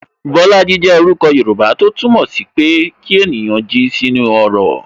Bolaji jẹ orúkọ Yoruba, tó túmọ̀ sí pé kí ènìyàn jí sí inú ọrọ̀